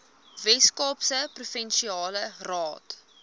weskaapse provinsiale raad